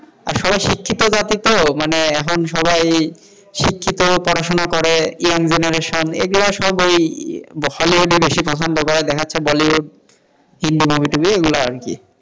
সবাই শিক্ষিত জাতি তো মানে এখন সবাই শিক্ষিত, পড়াশোনা করে, young generation এরা সবাই পছন্দ করে হলিউড বেশি পছন্দ করে দেখাচ্ছে বলিউড কিংবা মুভি টুভি এইগুলো আরকি,